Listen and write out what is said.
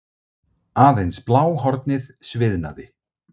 Aðeins bláhornið sviðnaði.